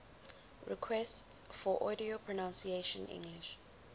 requests for audio pronunciation english